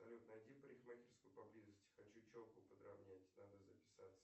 найди парикмахерскую поблизости хочу челку подравнять надо записаться